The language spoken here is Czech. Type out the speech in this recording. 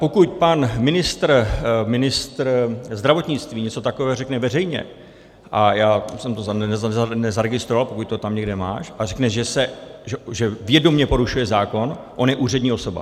Pokud pan ministr, ministr zdravotnictví něco takového řekne veřejně, a já jsem to nezaregistroval, pokud to tam někde máš, a řekne, že vědomě porušuje zákon, on je úřední osoba...